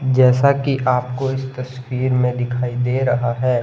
जैसा कि आपको इस तस्वीर में दिखाई दे रहा है।